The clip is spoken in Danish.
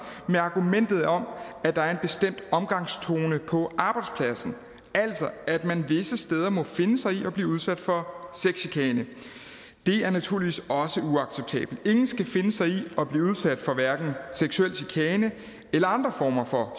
med argumentet om at der er en bestemt omgangstone på arbejdspladsen altså at man visse steder må finde sig i at blive udsat for sexchikane det er naturligvis også uacceptabelt ingen skal finde sig i at blive udsat for hverken seksuel chikane eller andre former for